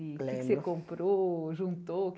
Lembro o que é que você comprou, juntou?